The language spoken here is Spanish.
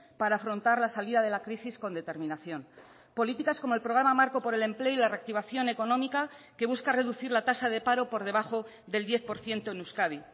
para afrontar la salida de la crisis con determinación políticas como el programa marco por el empleo y la reactivación económica que busca reducir la tasa de paro por debajo del diez por ciento en euskadi